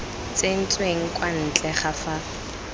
tsentsweng kwa ntle ga fa